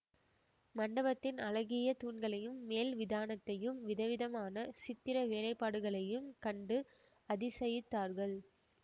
மண்டபத்தின் அழகிய தூண்களையும் மேல் விதானத்தையும் விதவிதமான சித்திர வேலைப்பாடுகளையும் கண்டு அதிசயித்தார்கள்